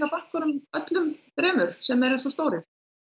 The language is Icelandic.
bönkunum öllum þremur sem eru svona stórir